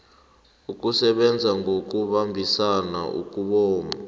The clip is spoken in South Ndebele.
ukusebenza ngokubambisana ukobana